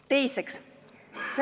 Teiseks.